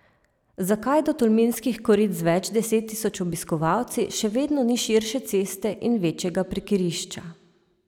Zakaj do Tolminskih korit z več deset tisoč obiskovalci še vedno ni širše ceste in večjega parkirišča?